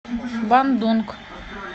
бандунг